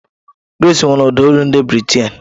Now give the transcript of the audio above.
Grace nwere ụda olu ndị Bị́rị́taị̀n.